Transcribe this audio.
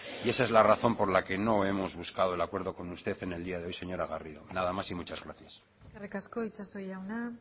y esa es la razón por la que no hemos buscado el acuerdo con usted en el día de hoy señora garrido nada más y muchas gracias eskerrik asko itxaso jauna